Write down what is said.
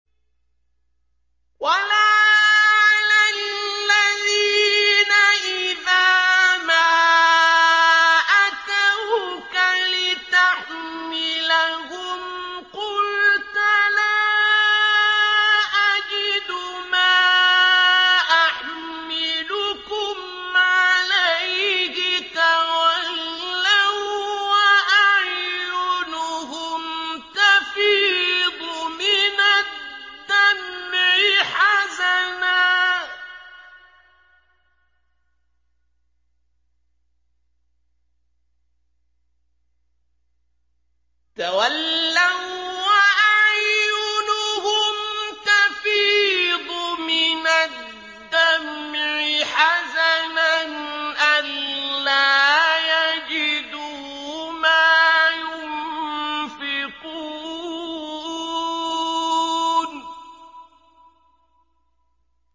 وَلَا عَلَى الَّذِينَ إِذَا مَا أَتَوْكَ لِتَحْمِلَهُمْ قُلْتَ لَا أَجِدُ مَا أَحْمِلُكُمْ عَلَيْهِ تَوَلَّوا وَّأَعْيُنُهُمْ تَفِيضُ مِنَ الدَّمْعِ حَزَنًا أَلَّا يَجِدُوا مَا يُنفِقُونَ